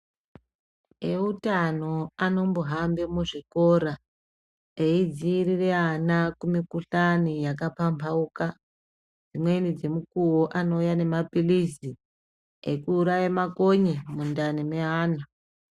Eutano anombohambe muzvikora eidziirire ana kumikhuhlani yakapambhauka dzimweni dzemukuwo anouya nemapilizi ekuuraye makonye mundani meana.